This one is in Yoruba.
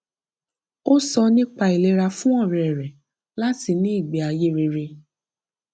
ó sọ nípa ìlera fún ọrẹ rẹ láti ní ìgbéayé rere